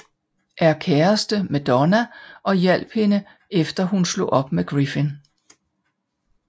Er kæreste med Donna og hjalp hende efter at hun slog op med Griffin